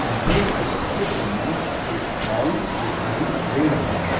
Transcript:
मुझे इस चित्र में एक हॉल दिखाई दे रहा है।